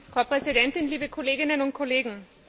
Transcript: Frau Präsidentin, liebe Kolleginnen und Kollegen!